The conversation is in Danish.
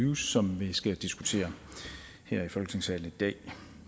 use som vi skal diskutere her i folketingssalen i dag